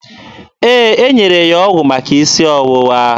Ee, e nyere ya ọgwụ maka isi ọwụwa.